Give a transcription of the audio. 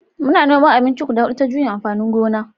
Muna noman abinci guda hudu ta juyin amfanin gona